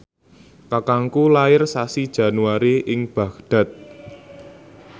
kakangku lair sasi Januari ing Baghdad